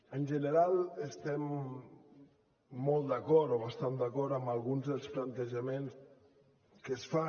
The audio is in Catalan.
en general estem molt d’acord o bastant d’acord amb alguns dels plantejaments que es fan